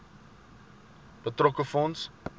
betrokke fonds